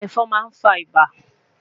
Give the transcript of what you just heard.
Ẹfọn ma nfa ibà